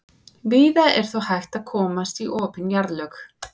víða er þó hægt að komast í opin jarðlög